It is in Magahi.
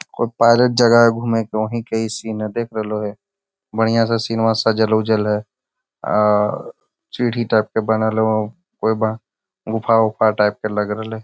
कोई पार्क जगह है घूमे के उहि के सीन है देख रहलो हो बढियाँ सा सीनवा सजल-उजल है आ सीढ़ी टाइप के बनल हो एबा गुफा-उफ़ा टाइप के लग रह लै।